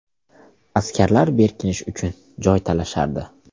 Askarlar berkinish uchun joy talashardi.